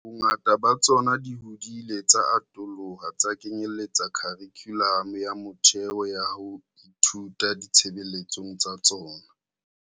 Bongata ba tsona di hodile tsa atoloha tsa kenyeletsa kharikhulamo ya motheo ya ho ithuta di tshebeletsong tsa tsona.